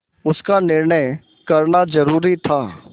उसका निर्णय करना जरूरी था